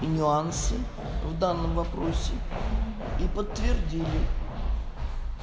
нюансы в данном вопросе и подтвердили